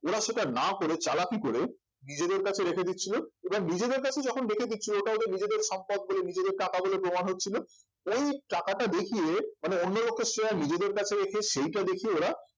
ওরা সেটা না করে চালাকি করে নিজেদের কাছে রেখে দিচ্ছিল এবার নিজেদের কাছে যখন রেখে দিচ্ছিলো ওটা ওদের নিজেদের সম্পদ বলে নিজেদের টাকা বলে প্রমাণ হচ্ছিলো ওই টাকাটা দেখিয়ে মানে অন্য লোকের share নিজেদের কাছে রেখে সেটা দেখিয়ে ওরা